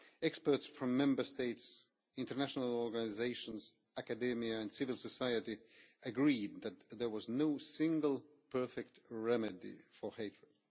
Experts from Member States, international organisations, academia and civil society agreed that there was no single perfect remedy for hatred.